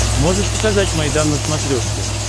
можешь показать майдан на смотрешке